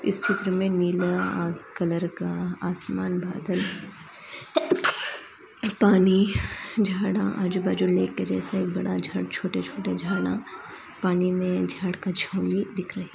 इस चित्र में नीला कलर का आसमान बादल है पानी जड़ा आज बज लेके जैसे लेके बड़ा बड़ा छोटे छोटे झरना पानी में जड़का दिक् रही हे --